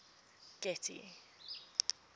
getty